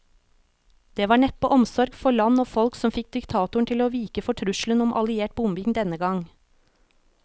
Det var neppe omsorg for land og folk som fikk diktatoren til å vike for trusselen om alliert bombing denne gang.